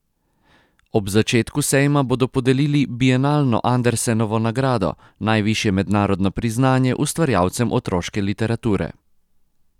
Ob začetku sejma bodo podelili bienalno Andersenovo nagrado, najvišje mednarodno priznanje ustvarjalcem otroške literature.